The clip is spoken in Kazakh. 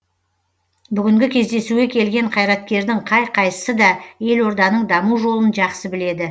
бүгінгі кездесуге келген қайраткердің қай қайсысы да елорданың даму жолын жақсы біледі